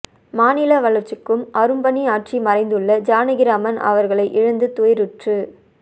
மாநில வளர்ச்சிக்கும் அரும்பணி ஆற்றி மறைந்துள்ள ஜானகிராமன் அவர்களை இழந்து துயருற்று